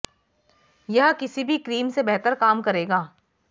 यह किसी भी क्रीम से बेहतर काम करेगा